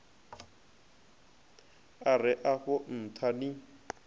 a re afho ntha ni